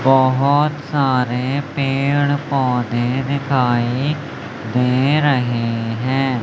बहोत सारे पेड़ पौधे दिखाई दे रहे हैं।